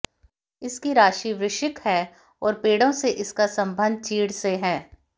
इसकी राशि वृश्चिक है और पेड़ों में इसका संबंध चीड़ से है